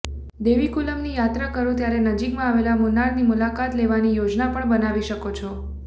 દેવીકુલમની યાત્રા કરો ત્યારે નજીકમાં આવેલા મુન્નારની મુલાકાત લેવાની યોજના પણ બનાવી શકો છો